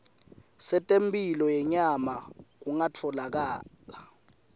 setemphilo yenyama kungatfolakala